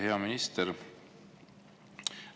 Hea minister!